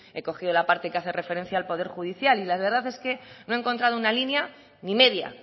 he cogido la parte que hace referencia al poder judicial y la verdad es que no he encontrado una línea ni media